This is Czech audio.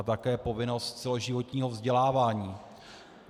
A také povinnost celoživotního vzdělávání.